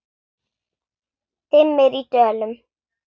Dimmir í dölum.